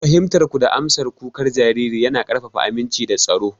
Fahimtar ku da amsa kukan jariri yana ƙarfafa aminci da tsaro.